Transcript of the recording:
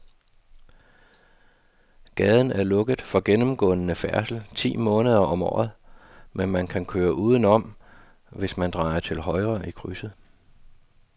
Gaden er lukket for gennemgående færdsel ti måneder om året, men man kan køre udenom, hvis man drejer til højre i krydset.